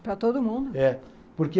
Para todo mundo? É porque